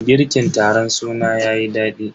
Girkin taron sunan yayi dadi.